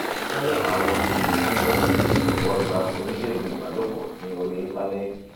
fún àwọn iyèméjì mìíràn jọ̀wọ́ gba oníṣègùn ìbálòpọ̀ ní orí íńtánẹ́ẹ̀tì